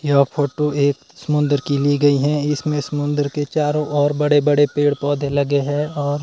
यह फोटो एक समुद्र की ली गई है। इसमें समुद्र के चारों ओर बड़े-बड़े पेड़-पौधे लगे हैं और--